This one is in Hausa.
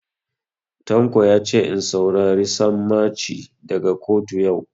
Tanko yace in saurari sammaci daga kotu yau